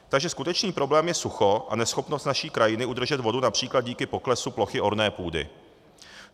Takže skutečný problém je sucho a neschopnost naší krajiny udržet vodu například díky poklesu plochy orné půdy.